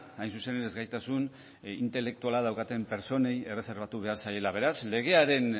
hain zuzen ere ezgaitasun intelektuala daukaten pertsonei erreserbatu behar zaiela beraz legearen